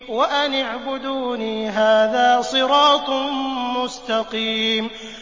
وَأَنِ اعْبُدُونِي ۚ هَٰذَا صِرَاطٌ مُّسْتَقِيمٌ